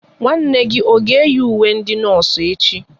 Nwanne gị ọ ga eyi ùwé ndị nọọsụ echi?